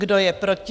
Kdo je proti?